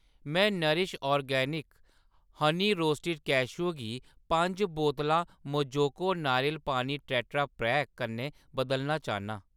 में Nourish Organics honey roasted cashew गी पंज बोतलां मोजोको नारियल पानी टेट्रापैक कन्नै बदलना चाह्‌न्नां।